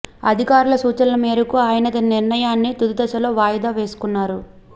అధికారుల సూచనల మేరకు ఆయన తన నిర్ణయాన్ని తుది దశలో వాయిదా వేసుకున్నారు